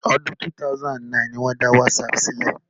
Ọdún 2009 ni wọ́n dá Wásaapù sílẹ̀